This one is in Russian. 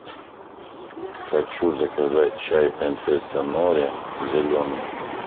хочу заказать чай принцесса нури зеленый